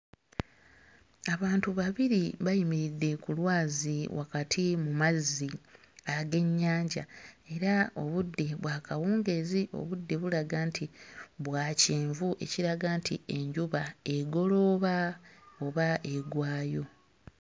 Abantu babiri bayimiridde ku lwazi wakati mu mazzi ag'ennyanja era obudde bwa kawungeezi. Obudde bulaga nti bwa kyenvu, ekiraga nti enjuba egolooba oba egwayo.